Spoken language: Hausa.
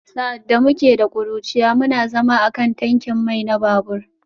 Sa’ad da muke ƙuruciya, muna zama a kan tankin mai na babur